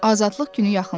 azadlıq günü yaxınlaşır.